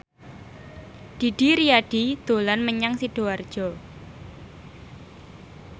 Didi Riyadi dolan menyang Sidoarjo